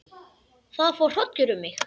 Það fór hrollur um mig.